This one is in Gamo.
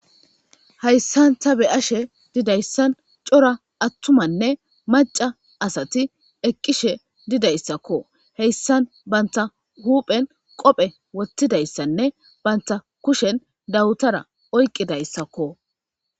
Hayisan ta be'ashe dizayis coora atumanee maca asati eqishe dizaysako hesan banita huphen qophe woxidiaysanee banita kushen dawutara oyiqidayiaa